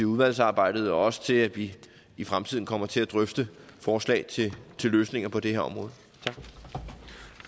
udvalgsarbejdet og også til at vi i fremtiden kommer til at drøfte forslag til løsninger på det her område